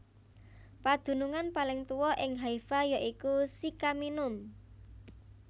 Padunungan paling tuwa ing Haifa ya iku Sycaminum